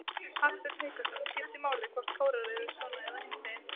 Hafsteinn Hauksson: Skiptir máli hvort kórar eru svona eða hinsegin?